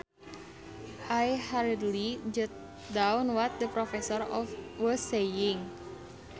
I hurriedly jotted down what the professor was saying